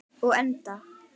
Og endað.